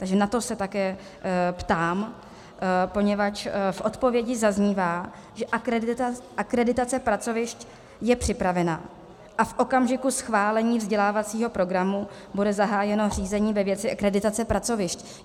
Takže na to se také ptám, poněvadž v odpovědi zaznívá, že akreditace pracovišť je připravena a v okamžiku schválení vzdělávacího programu bude zahájeno řízení ve věci akreditace pracovišť.